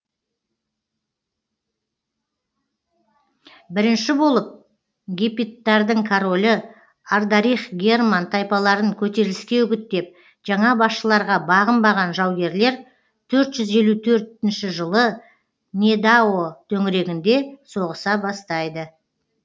бірінші болып гепидтардың королі ардарих герман тайпаларын көтеріліске үгіттеп жаңа басшыларға бағынбаған жаугерлер төрт жүз елу төртінші жылы недао төңірегінде соғыса бастайды